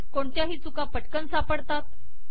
कोणत्याही चुका पटकन सापडतात